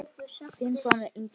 Þinn sonur, Ingi Þór.